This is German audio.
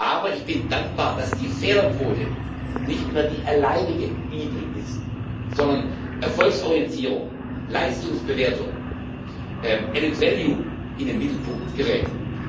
Aber ich bin dankbar, dass die Fehlerquote nicht mehr die alleinige Bibel ist, sondern Erfolgsorientierung, Leistungsbewertung, Mehrwert in den Mittelpunkt geraten.